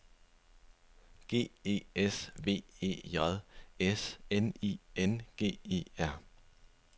G E S V E J S N I N G E R